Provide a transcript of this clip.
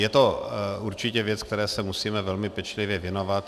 Je to určitě věc, které se musíme velmi pečlivě věnovat.